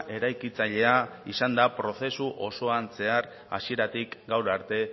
eraikitzailea izan da prozesu osoan zehar hasieratik gaur arte